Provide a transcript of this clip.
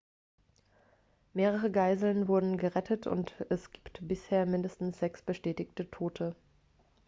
mehrere geiseln wurden gerettet und es gibt bisher mindestens sechs bestätigte tote